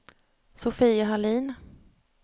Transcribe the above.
Sofia Hallin